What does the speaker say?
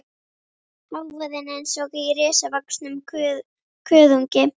Hávaðinn eins og í risavöxnum kuðungi.